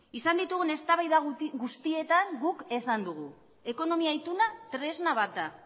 izan ditugun eztabaida guztietan guk esan dugu ekonomia ituna tresna bat da